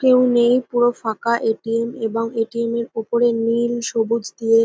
কেউ নেই পুরো ফাকা এ .টি .এম এবং এ .টি .এম -এর উপরে নীল সবুজ দিয়ে--